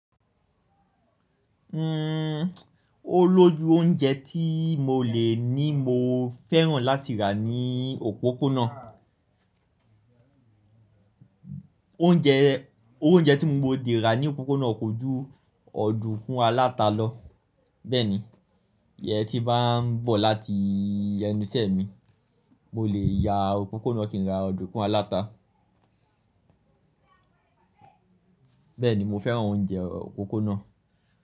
O lójù oúnjẹ tí mo lè ní mo fẹ́ràn láti rà ní òpópónà. Oúnjẹ, oúnjẹ tí mo dè rà ní òpópónà kò jú ọ̀dúkún aláta lọ. Bẹ́ẹ̀nì, yẹ tí bá ń bọ̀ láti yẹnu ìṣẹ̀ mi, mo lè ya òpópónà kí ń ra ọ̀dúkún aláta. Bẹ́ẹ̀nì, mo fẹ́ràn oúnjẹ òpópónà.